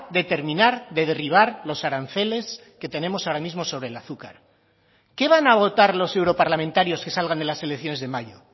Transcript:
determinar de derribar los aranceles que tenemos ahora mismo sobre el azúcar qué van a votar los europarlamentarios que salgan de las elecciones de mayo